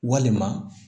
Walima